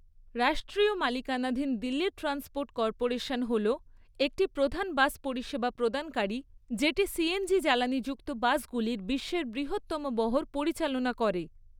রাষ্ট্রীয় মালিকানাধীন Delhi transport corporation হল একটি প্রধান বাস পরিষেবা প্রদানকারী যেটি সিএনজি জ্বালানিযুক্ত বাসগুলির বিশ্বের বৃহত্তম বহর পরিচালনা করে।